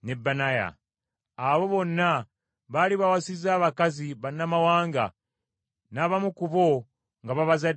Abo bonna baali bawasizza abakazi bannamawanga, n’abamu ku bo nga babazaddemu abaana.